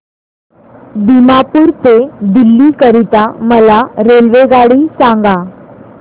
दिमापूर ते दिल्ली करीता मला रेल्वेगाडी सांगा